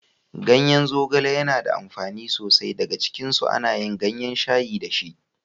Ganyen zogale yana da amfani so sai. Daga cikinsu ana yin gayen shayi da shi.